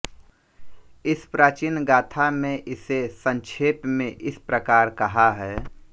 इस प्राचीन गाथा में इसे संक्षेप में इस प्रकार कहा है